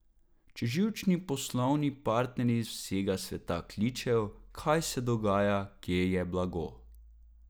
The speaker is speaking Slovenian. Če živčni poslovni partnerji z vsega sveta kličejo, kaj se dogaja, kje je blago?